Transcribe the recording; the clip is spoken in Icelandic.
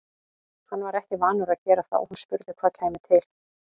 Hann var ekki vanur að gera það og hún spurði hvað kæmi til.